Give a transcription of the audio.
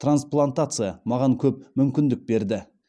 трансплантация маған көп мүмкіндік берді